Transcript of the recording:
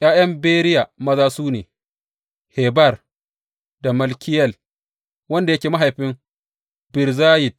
’Ya’yan Beriya maza su ne, Heber da Malkiyel, wanda yake mahaifin Birzayit.